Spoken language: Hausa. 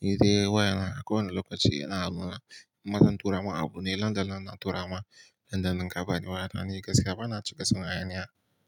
nI dai wayana a kowane lokaci yana hannuna, in ma zan turama abu ne, nan da nan na turama, nan da nan ka bani waya nani gaskiya bana cika son hayaniya.